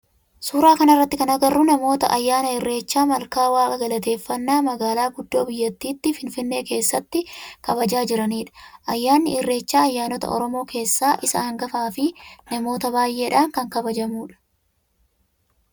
Suuraa kana irratti kan agarru namoota ayyaana irreecha malkaa waaqa galateefannaa magaalaa guddoo biyyattii finfinnee keessatti kabajaa jiranidha. Ayyaanni ireechaa ayyaanota oromoo keessaa isa hangafaa fi namoota baayyeedhan kan kabajamudha.